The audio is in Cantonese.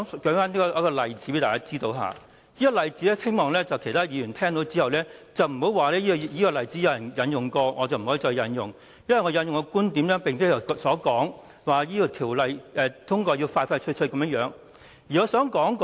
讓我舉一個例子，希望其他議員不要說這個例子已有人引用過，我不能再引用，因為我的觀點與其他議員不同，他們希望盡快通過《條例草案》。